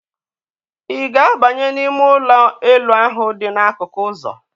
Ị ga-abanye n'ime ụlọ elu ahụ dị n'akụkụ ụzọ?